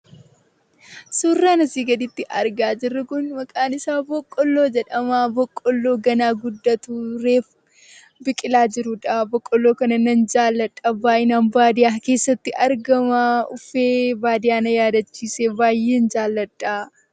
Suuraan asii gaditti argaa jirru kun maqaan isaa boqqolloo jedhama. Boqqolloo ganaa guddatu reefu biqilaa jirudha. Boqqolloo kana nan jaaladha. Baayyinaan baadiyyaa keessatti argama. Uffee baadiyyaa na yaaddachiise. Baayyeen jaalladha.